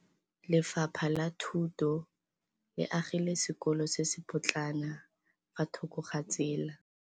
Lefapha la Thuto le agile sekôlô se se pôtlana fa thoko ga tsela.